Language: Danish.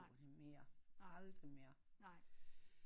Mere aldrig mere